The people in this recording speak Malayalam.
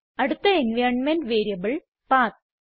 അടുത്ത എൻവൈറൻമെന്റ് വേരിയബിൾ പത്ത്